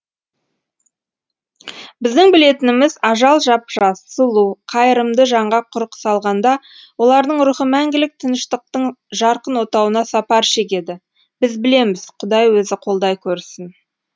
біздің білетініміз ажал жап жас сұлу қайырымды жанға құрық салғанда олардың рухы мәңгілік тыныштықтың жарқын отауына сапар шегеді біз білеміз құдай өзі қолдай көрсін